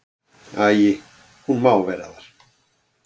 Æi, hún má vera þar.